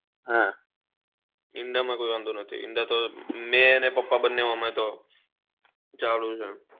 હા ઈંડા માં કોઈ વાંધો નહી ઈંડા તો મેં અને પપ્પા બન્ને અમે તો ચાલુ જ હોય